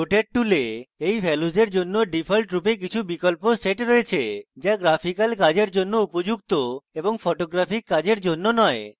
rotate tool in ভ্যালুসের জন্য default রূপে কিছু বিকল্প set রয়েছে যা গ্রাফিক্যাল কাজের জন্য উপযুক্ত এবং photographic কাজের জন্য নয়